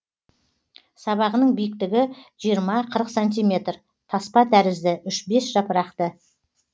сабағының биіктігі жиырма қырық сантиметр таспа тәрізді үш бес жапырақты